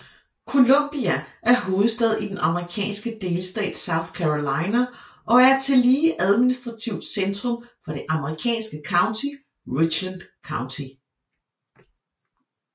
Columbia er hovedstad i den amerikanske delstat South Carolina og er tillige administrativt centrum for det amerikanske county Richland County